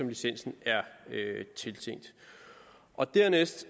licensen er tiltænkt dernæst